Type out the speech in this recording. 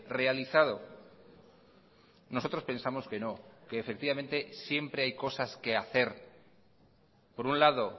realizado nosotros pensamos que no que efectivamente siempre hay cosas que hacer por un lado